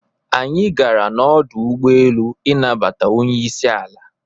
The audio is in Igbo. Anyi gara na-ọdu ụgbọelụ ịnabata ọnyeisi ala.